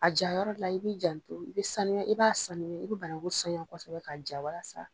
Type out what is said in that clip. A jayɔrɔ la, i bi janto, i bi sanuya, i b'a sanuya, i bi bananku sanuya kosɛbɛ ka ja walasa